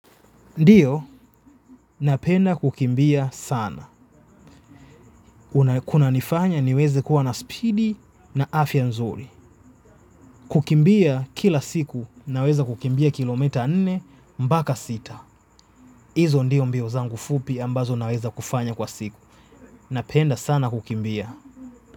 Ndiyo, napenda kukimbia sana. Kuna nifanya niweze kuwa na speedi na afya nzuri. Kukimbia kila siku naweza kukimbia kilometa nne mbaka sita. Izo ndio mbio zangu fupi ambazo naweza kufanya kwa siku. Napenda sana kukimbia.